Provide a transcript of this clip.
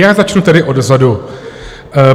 Já začnu tedy odzadu.